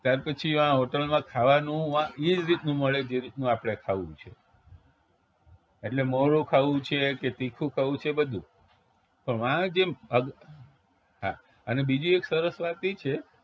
ત્યારપછી વા hotel માં ખાવાનું વા એ જ રીતનું મળે જે રીતનું આપણે ખાવું છ એટલે મોળું ખાવું છે કે તીખું ખાવું છે બધું પણ વા જેમ હા અને બીજી એક સરસ વાત ઈ છે